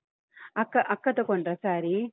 ಅಕ್ಕ, ಅಕ್ಕ ತೊಕೊಂಡ್ರ saree ?